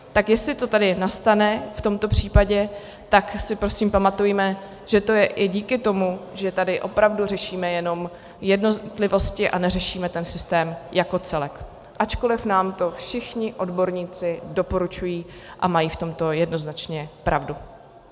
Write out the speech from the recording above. Tak jestli to tady nastane v tomto případě, tak si prosím pamatujme, že to je i díky tomu, že tady opravdu řešíme jenom jednotlivosti a neřešíme ten systém jako celek, ačkoliv nám to všichni odborníci doporučují a mají v tomto jednoznačně pravdu.